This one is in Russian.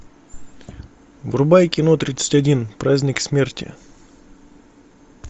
врубай кино тридцать один праздник смерти